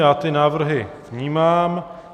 Já ty návrhy vnímám.